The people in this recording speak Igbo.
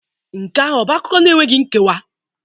Nke ahụ ọ bụ akụkọ enweghị nkewa?